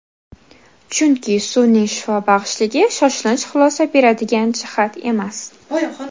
Chunki, suvning shifobaxshligi shoshilinch xulosa beradigan jihat emas.